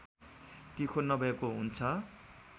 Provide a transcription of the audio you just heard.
तिखो नभएको हुन्छ